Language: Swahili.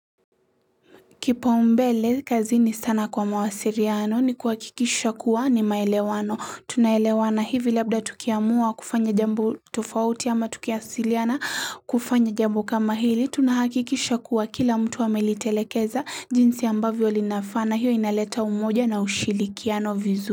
Kipau mbele kazi ni sana kwa mawasiliano ni kuhakikisha kuwa ni maelewano tunaelewana hivi labda tukiamua kufanya jambo tofauti ama tukiasiliana kufanya jambo kama hili tunahakikisha kuwa kila mtu wamelitelekeza jinsi ambavyo linafaa na hiyo inaleta umoja na ushirikiano vizu.